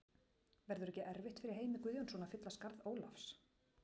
Verður ekki erfitt fyrir Heimi Guðjónsson að fylla skarð Ólafs?